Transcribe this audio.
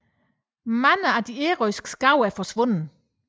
Mange af de ærøske skove forsvandt